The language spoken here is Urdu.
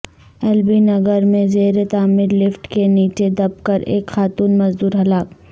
ایل بی نگر میں زیرتعمیر لفٹ کے نیچے دب کر ایک خاتون مزدور ہلاک